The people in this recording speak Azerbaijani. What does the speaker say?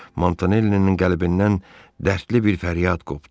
Montanellinin qəlbindən dərdli bir fəryad qopdu.